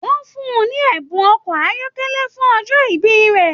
Wọn fún ní ẹbùn ọkọ ayọkẹlẹ fún ọjọ ìbí rẹ.